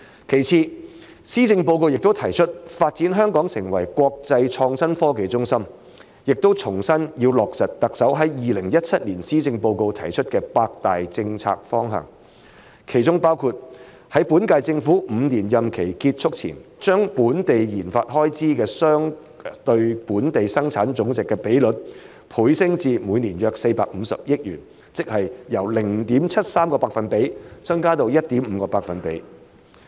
其次，施政報告亦提出發展香港成為國際創新科技中心，並重申要落實特首在2017年施政報告中提出的八大政策方向，其中包括在本屆政府5年任期結束前把本地研發總開支相對本地生產總值的比率，倍升至每年約450億元，即由 0.73% 增加至 1.5%。